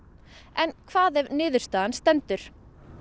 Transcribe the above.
en hvað ef niðurstaðan stendur